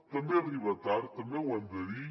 també arriba tard també ho hem de dir